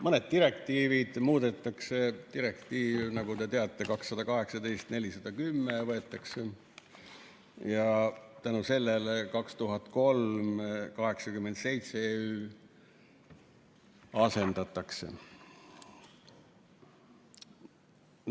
Mõned direktiivid muudetakse, direktiiv, nagu te teate, 2018/410 võetakse vastu ja tänu sellele 2003/87/EÜ asendatakse.